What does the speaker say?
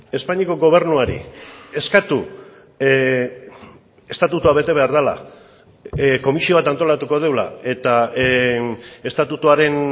espainiako gobernuari eskatu estatutua bete behar dela komisio bat antolatuko dugula eta estatutuaren